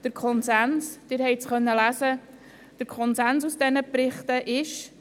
Der Konsens – Sie haben es lesen können – aus diesen Berichten ist: